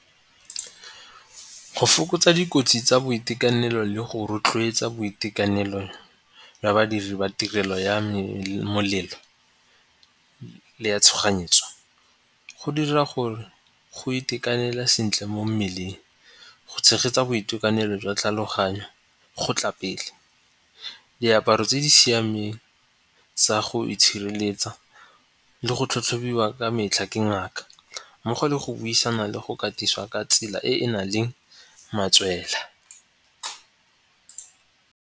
Go fokotsa dikotsi tsa boitekanelo le go rotloetsa boitekanelo jwa badiri ba tirelo ya molelo le ya tshoganyetso go dira gore go itekanela sentle mo mmeleng, go tshegetsa boitekanelo jwa tlhaloganyo go tla pele. Diaparo tse di siameng tsa go itshireletsa le go tlhatlhobiwa ka metlha ke ngaka mmogo le go buisana le go katisiwa ka tsela e e na leng matswela.